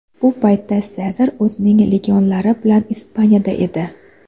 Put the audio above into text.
Bu paytda Sezar o‘zining legionlari bilan Ispaniyada edi.